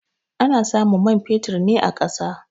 Ana samun man fetur na a ƙasa.